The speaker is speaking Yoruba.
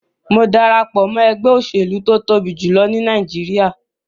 Mo darapo mọ ẹgbẹ oselu to tobi julọ ni Nàìjíríà